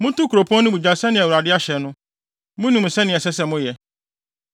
Monto kuropɔn no mu gya sɛnea Awurade ahyɛ no. Munim nea ɛsɛ sɛ moyɛ.”